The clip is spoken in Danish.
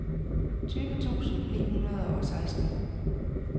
tyve tusind ni hundrede og seksten